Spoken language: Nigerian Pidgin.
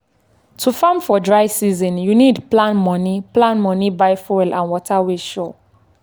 to farm for dry season you need plan money plan money buy fuel and water wey sure.